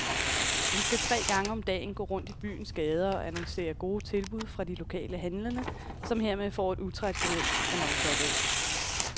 Han skal tre gange om dagen gå rundt i byens gader og annoncere gode tilbud fra de lokale handlende, som hermed får et utraditionelt annonceorgan.